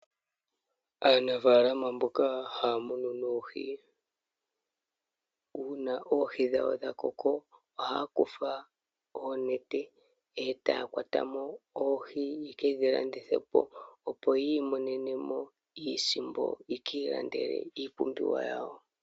Aanafaalama mboka haya munu oohi, uuna oohi dhawo dhakoko ohaya kutha oonete, e taya kwatamo oohi yekedhi landithepo, opo yiimonene mo iisimpo, yo yavule yekiilandele iipumbiwa yawo.